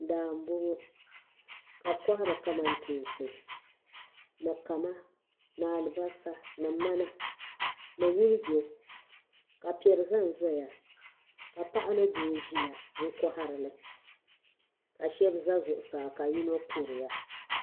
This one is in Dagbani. Daa mbɔŋɔ ka bi kɔhari kamantoonsi ni kama ni alibasa ni mana ni wulijo ka pɛri zan zaya ka paɣi ni doo ziya n kɔhari ka shɛb za Zuɣusaa ka yino kuriya.